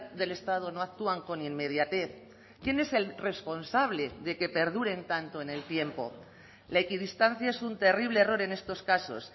del estado no actúan con inmediatez quién es el responsable de que perduren tanto en el tiempo la equidistancia es un terrible error en estos casos